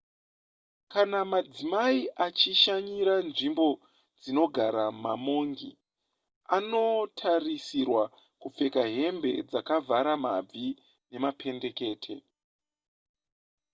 kana madzimai achishanyira nzvimbo dzinogara mamongi anotarisirwa kupfeka hembe dzakavhara mabvi nemapendekete